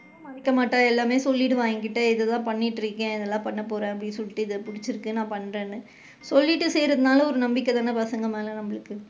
மறைக்க மாட்டா எல்லாமே சொல்லிடுவா என்கிட்ட இதுதான் பண்ணிக்கிட்டு இருக்கேன் இதலாம் பண்ண போறேன் அப்படின்னு சொல்லிட்டு இது புடிச்சு இருக்கு நான் பண்றேன்னு, சொல்லிட்டு செய்றனால ஒரு நம்பிக்கை தான பசங்க மேல நம்மளுக்கு,